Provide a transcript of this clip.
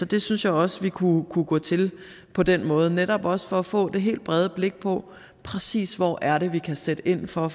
det synes jeg også vi kunne kunne gå til på den måde netop også for at få det helt brede blik på præcis hvor det er vi kan sætte ind for